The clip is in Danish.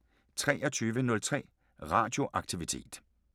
23:03: Radio Aktivitet